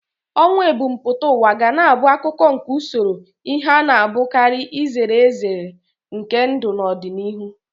Ọnwụ ebumpụta ụwa ga na-abụ akụkụ nke usoro ihe a na-apụghị izere ezere nke ndụ n'ọdịnihu.